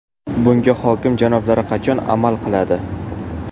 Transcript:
Bunga hokim janoblari qachon amal qiladi?